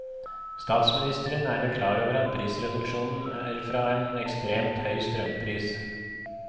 Statsministeren er vel klar over at prisreduksjonen er fra en ekstremt høy strømpris.